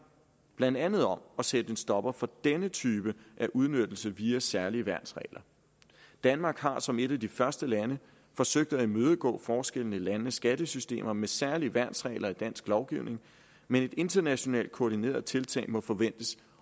blandt andet om at sætte en stopper for denne type af udnyttelse via særlige værnsregler danmark har som et af de første lande forsøgt at imødegå forskellene i landenes skattesystemer med særlige værnsregler i dansk lovgivning men et internationalt koordineret tiltag må forventes